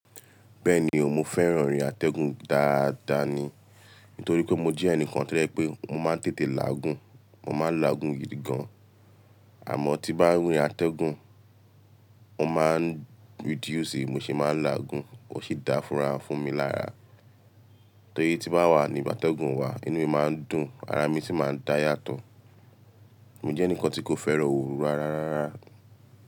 Bẹ́ẹ̀ni o, mo fẹ́ràn orin atẹ́gùn dáadáa ni. Nítorí pé mo jẹ́ ẹnìkan to ye pé mo máa ń tètè láagùn, mo máa ń láágun gidi gan. Àmọ́ tí bá orin atẹ́gùn, mo máa ń reduce, mo sì máa ń láágun, ó sì dá funfun fún mi lára. Torí tí bá wà ní bàtẹ́gùn wà, inú mi máa ń dùn, ara mi sì máa ń dá yàtọ̀. Mo jẹ́ ẹnìkan tí kò fẹ́ràn ooru rara rara.